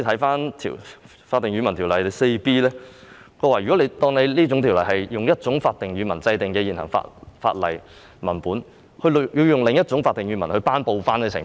《法定語文條例》第 4B 條訂明，以一種法定語文制定的現行法例文本用另一種法定語文頒布的情況。